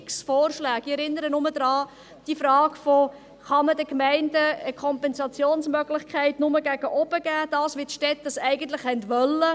Ich erinnere nur an die Frage, ob man den Gemeinden eine Kompensationsmöglichkeit gegen oben geben kann, so wie dies die Städte eigentlich wollten.